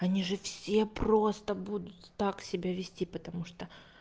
они же все просто будут так себя вести потому что